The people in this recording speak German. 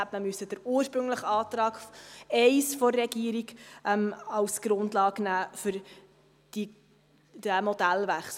Dann hätte man den ursprünglichen Antrag I der Regierung als Grundlage nehmen müssen für diesen Modellwechsel.